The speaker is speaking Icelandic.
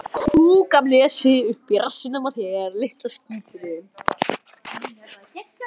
Hrund: Hvers konar skotvopn yrðu það?